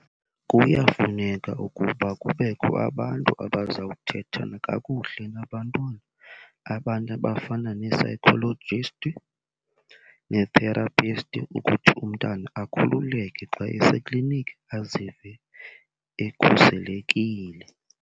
Kuyafuneka ukuba kubekho abantu abazawuthetha kakuhle nabantwana, abantu abafana nee-psychologist nee-therapist ukuthi umntana akhululeke xa eseklinikhi azive ekhuselekile.